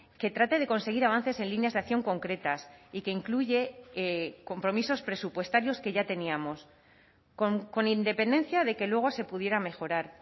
que trate de conseguir avances en líneas de acción concretas y que incluye compromisos presupuestarios que ya teníamos con independencia de que luego se pudiera mejorar